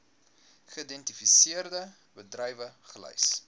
geïdentifiseerde bedrywe gelys